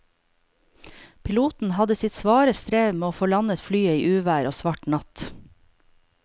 Piloten hadde sitt svare strev med å få landet flyet i uvær og svart natt.